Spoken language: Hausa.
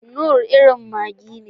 Knorr irin maggi ne.